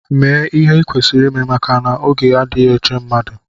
Mee ihe i kwesịrị ime maka n'oge adịghị eche mmadụ!